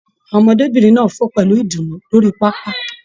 Àwọn ọmọdébinrin náà fo pẹlu ìdùnnú lórí pápá.